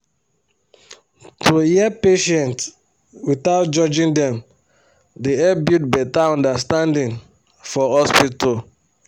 to hear patients without judging dem dey help build better understanding for hospital